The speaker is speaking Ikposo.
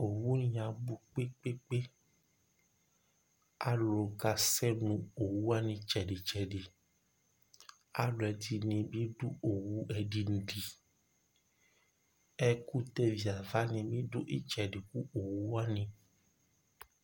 Owu ni abʋ kpekpekpe Alu kasɛ nʋ owu wani ɩtsɛdɩtsɛdɩ Alu ɛdɩnɩ bɩ du owu ɛdɩnɩ li Ɛkʋtɛviava ni bɩdu ɩtsɛdɩ kʋ owu wani